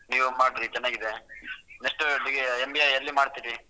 ನೀವು ಮಾಡ್ರಿ ಚೆನ್ನಾಗಿದೆ next MBA ಏಲ್ಲಿ ಮಾಡ್ತೀರಿ?